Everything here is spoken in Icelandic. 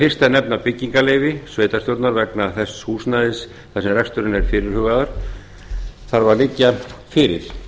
fyrst að nefna byggingarleyfi sveitarstjórnar vegna þess húsnæðis þar sem reksturinn er fyrirhugaður þarf að liggja fyrir